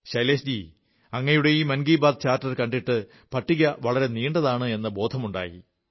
ശൈലേഷ് ജീ അങ്ങയുടെ ഈ മൻ കീ ബാത്ത് ചാർട്ടർ കണ്ടിട്ട് പട്ടിക വളരെ നീണ്ടതാണെന്ന ബോധമുണ്ടായി